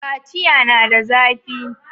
Kaciya na da zafi